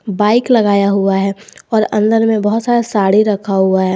Bike लगाया हुआ है और अंदर में बहुत सारा साड़ी रखा हुआ है।